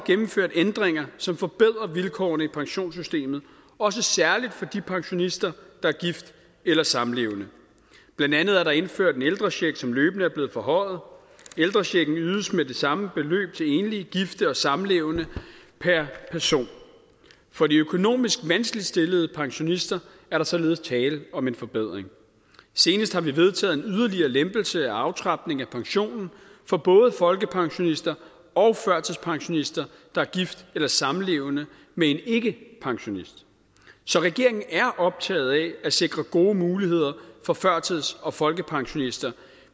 gennemført ændringer som forbedrer vilkårene i pensionssystemet også særlig for de pensionister der er gift eller samlevende blandt andet er der indført en ældrecheck som løbende er blevet forhøjet ældrechecken ydes med det samme beløb til enlige gifte og samlevende per person for de økonomisk vanskeligt stillede pensionister er der således tale om en forbedring senest har vi vedtaget en yderligere lempelse af aftrapning af pensionen for både folkepensionister og førtidspensionister der er gift eller samlevende med en ikkepensionist så regeringen er optaget af at sikre gode muligheder for førtids og folkepensionister